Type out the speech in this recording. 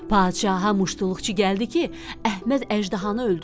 Padşaha muştuluqçu gəldi ki, Əhməd əjdahanı öldürdü.